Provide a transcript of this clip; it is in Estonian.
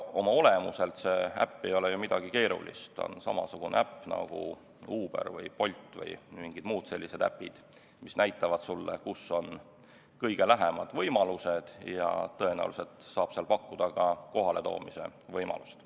Oma olemuselt ei ole see äpp ju midagi keerulist, see on samasugune äpp nagu Uber või Bolt või mingid muud sellised äpid, mis näitavad, kus on kõige lähemad võimalused, ja tõenäoliselt saab seal pakkuda ka kohaletoomist.